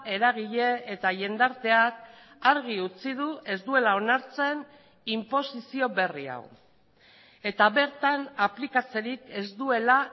eragile eta jendarteak argi utzi du ez duela onartzen inposizio berri hau eta bertan aplikatzerik ez duela